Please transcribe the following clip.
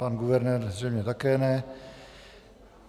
Pan guvernér zřejmě také ne.